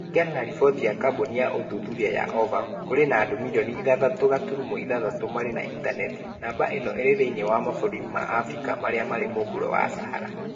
Kũringana na riboti ya kambuni ya ũthuthuria ya Ovum, kũrĩ na andũ mirioni ithathatũ gaturumo ithathatũ marĩ na intaneti. Namba ĩno ĩrĩ thĩinĩ wa mabũrũri ma Afrika marĩa marĩ mũhuro wa Sahara .